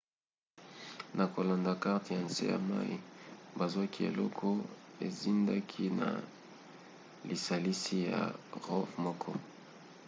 na kolanda karte ya nse ya mai bazwaki eloko ezindaki na lisalisi ya rov moko